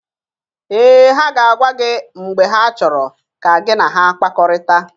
Ee, ha ga-agwa gị mgbe ha chọrọ ka gị na ha kpakọrịta.